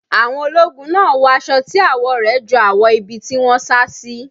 Àwọn ológun náà wọ aṣọ tí àwọ̀ rẹ̀ jọ àwọ̀ ibi tí wọ́n sá sí.